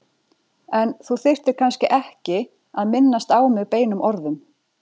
En þú þyrftir kannski ekki að. minnast á mig beinum orðum.